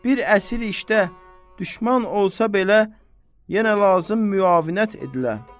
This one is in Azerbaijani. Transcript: Bir əsir işdə, düşmən olsa belə, yenə lazım müavinət edilə.